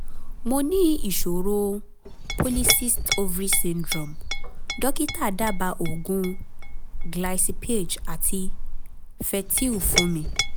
mo ní mo ní ìṣòro polycyst ovary syndrome dókítà dábàá oògùn glycipaage àti fertyl fún mi